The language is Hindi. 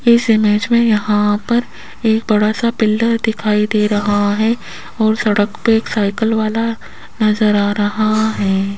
इस इमेज में यहां पर एक बड़ा सा पिलर दिखाई दे रहा है और सड़क पे एक साइकिल वाला नजर आ रहा है।